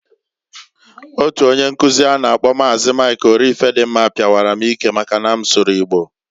Otu onye nkuzi a na -akpọ Maazi, Mik Orifedimma, pawara m ike maka na m sụrụ Igbo.